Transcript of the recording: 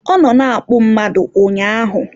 Ọ nọ na-akpụ mmadụ ụnyaahụ